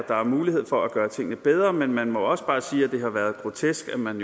der er mulighed for at gøre tingene bedre men man må også bare sige at det har været grotesk at man